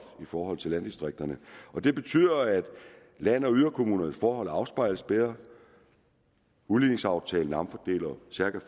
i forhold til landdistrikterne og det betyder at land og yderkommunernes forhold afspejles bedre udligningsaftalen omfordeler cirka